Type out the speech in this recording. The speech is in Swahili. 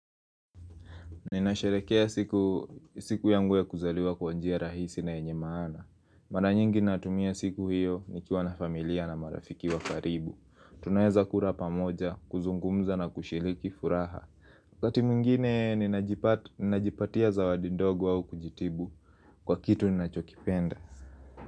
Ninasherekea siku yangu ya kuzaliwa kwa njia rahisi na yenye maana. Mara nyingi natumia siku hiyo nikiwa na familia na marafiki wa karibu. Tunaeza kula pamoja, kuzungumza na kushiriki furaha wakati mwingine ninajipatia zawadi ndogo au kujitibu kwa kitu ninachokipenda.